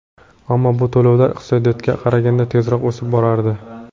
Ammo bu to‘lovlar iqtisodiyotga qaraganda tezroq o‘sib borardi.